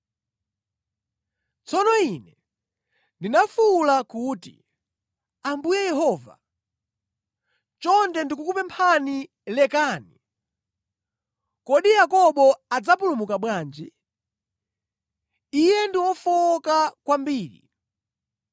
Tsono ine ndinafuwula kuti, “Ambuye Yehova, chonde ndikukupemphani, lekani! Kodi Yakobo adzapulumuka bwanji? Iye ndi wofowoka kwambiri!”